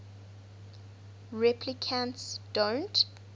replicants don't